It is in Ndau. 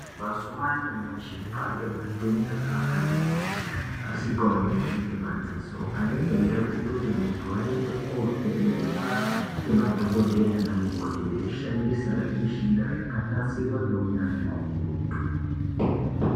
Mazuwa anyamashi kwaane matenda akati kuti asikaoneki ngemadziso anenga eida kutoti muntu aende kovhenekwa ngemadhokodheya nana mukoti veishandisa zvimishina zvakanasirwa ngeunyanzvi ukurutu.